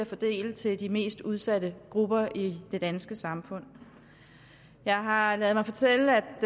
fordele til de mest udsatte grupper i det danske samfund jeg har har ladet mig fortælle